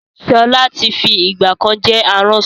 Ṣọlá tí fi ìgbàkan jẹ́ aránṣọ